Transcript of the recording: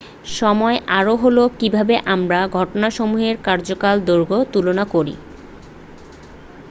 সময় আরও হলো কীভাবে আমরা ঘটনাসমূহের কার্যকাল দৈর্ঘ্য তুলনা করি।